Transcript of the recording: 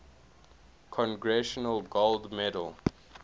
congressional gold medal